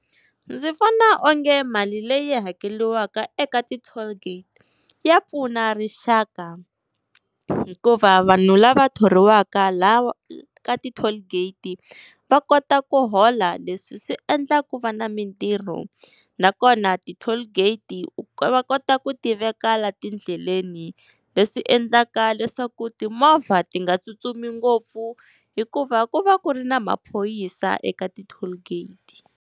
Ndzi vona onge mali leyi hakeriwaka eka ti-toll gate ya pfuna rixaka, hikuva vanhu lava thoriwaka laha ka ti-toll gate va kota ku hola. Leswi swi endla ku va na mintirho nakona ti-toll gate ku va kota ku ti veka la tindleleni leswi endlaka leswaku timovha ti nga tsutsumi ngopfu hikuva ku va ku ri na maphorisa eka ti-toll gate.